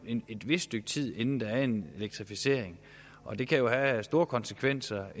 jo et vist stykke tid inden der er en elektrificering og det kan have store konsekvenser